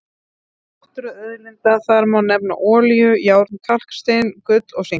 Meðal náttúruauðlinda þar má nefna olíu, járn, kalkstein, gull og sink.